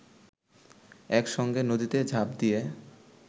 একসঙ্গে নদীতে ঝাঁপ দিয়ে